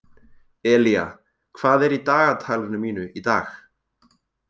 Elía, hvað er í dagatalinu mínu í dag?